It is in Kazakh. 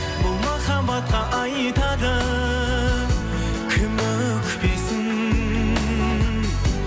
бұл махаббатқа айтады кім өкпесін